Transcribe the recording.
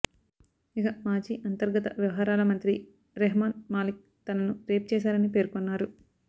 ఇక మాజీ అంతర్గత వ్యవహారాల మంత్రి రెహ్మన్ మాలిక్ తనను రేప్ చేశారని పేర్కొన్నారు